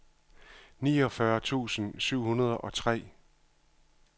niogfyrre tusind syv hundrede og tre